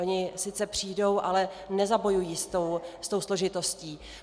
Oni sice přijdou, ale nezabojují s tou složitostí.